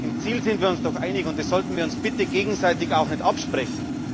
Im Ziel sind wir uns doch einig, und das sollten wir uns bitte gegenseitig auch nicht absprechen.